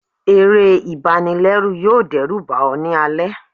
eré ibànilẹrù yọọ dẹruba ọ ni alẹ